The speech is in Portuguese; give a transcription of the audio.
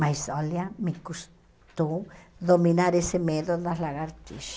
Mas olha, me custou dominar esse medo das lagartixas.